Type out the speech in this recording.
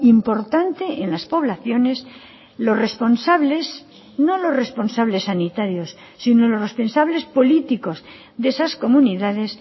importante en las poblaciones los responsables no los responsables sanitarios sino los responsables políticos de esas comunidades